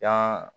Jan